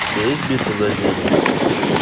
у тебя есть битва за землю